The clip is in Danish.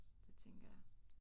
Det tænker jeg